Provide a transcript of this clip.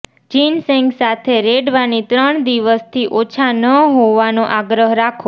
ginseng સાથે રેડવાની ત્રણ દિવસથી ઓછા ન હોવાનો આગ્રહ રાખો